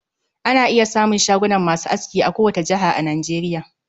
Ana iya samun shagunan masu aski a ko wata jihar a Nageriya.